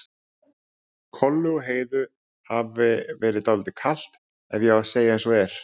Kollu og Heiðu hafi verið dálítið kalt ef ég á að segja eins og er.